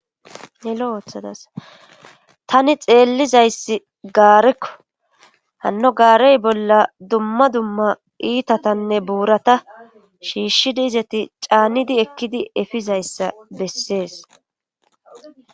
tani xeellizayssi gaarekko hanno gaarey bolla dumma dumma iitatanne buurata shiishshidi izati caanidi ekkidi efizayssa bessees